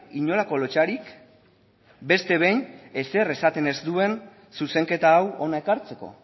inolako lotsarik beste behin ezer esaten ez duen zuzenketa hau hona ekartzeko